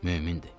Mömindir.